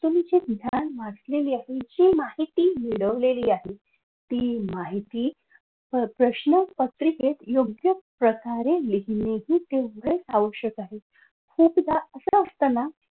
तुम्ही जे ज्ञान मांडलेले आहे जी माहिती मिळवलेली आहे. ती माहिती प्रश्नपत्रिकेत योग्य प्रकारे लिहिणे हे तेवढेच आवश्यक आहे. खूपदा असं असत ना